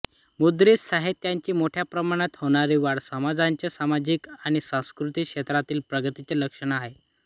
मुद्रित साहित्याची मोठ्या प्रमाणावर होणारी वाढ समाजाच्या सामाजिक आणि सांस्कृतिक क्षेत्रातील प्रगतीचे लक्षण आहे